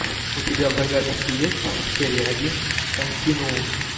у тебя в загашнике есть серия один континуум